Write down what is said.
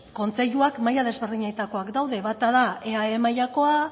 kontseiluak maila ezberdinetakoak daude bata da eae mailakoa